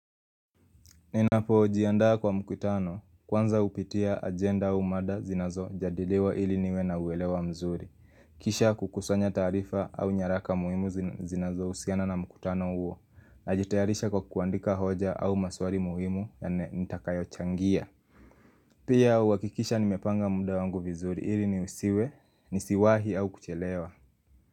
Ninapo jiandaa kwa mkutano kwanza upitia agenda au mada zinazo jadiliwa ili niwe na uelewa mzuri. Kisha kukusanya taarifa au nyaraka muhimu zinazo usiana na mkutano uo. Najitayarisha kwa kuandika hoja au maswari muhimu ya ne nitakayo changia. Pia uwakikisha nimepanga muda wangu vizuri ili ni usiwe, nisiwahi au kuchelewa.